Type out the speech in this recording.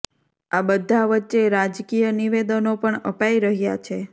આ બધા વચ્ચે રાજકીય નિવેદનો પણ અપાઈ રહ્યાં છે